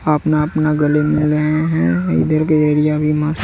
अपना अपना गले मिल रहे हैं इधर के एरिया भी मस्त--